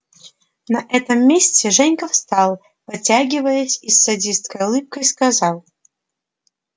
на этом месте женька встал потягиваясь и с садистской улыбкой сказал